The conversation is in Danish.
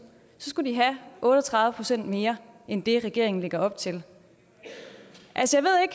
så skulle de have otte og tredive procent mere end det regeringen lægger op til